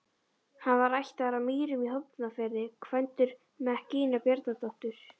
Hann var ættaður af Mýrum í Hornafirði, kvæntur Mekkínu Bjarnadóttur.